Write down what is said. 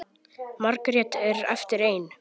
Margrét er eftir ein.